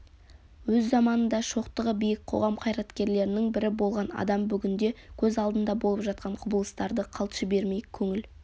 өз заманында шоқтығы биік қоғам қайраткерлерінің бірі болған адам бүгінде көз алдында болып жатқан құбылыстарды қалт жібермей көңіл